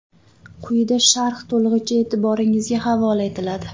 Quyida sharh to‘lig‘icha e’tiboringizga havola etiladi.